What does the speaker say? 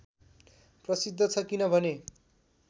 प्रसिद्ध छ किनभने